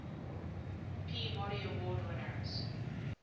peabody award winners